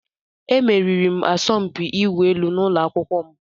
Emeriri m asọmpi ịwụ elu n'ụlọ akwụkwọ m.